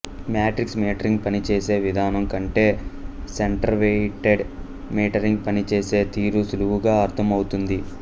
matrix metering పని చేసే విధానం కంటే సెంటర్వెయిటెడ్ మీటరింగ్ పని చేసే తీరు సులువుగా అర్థం అవుతుంది